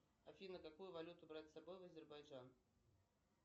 афина какую валюту брать с собой в азербайджан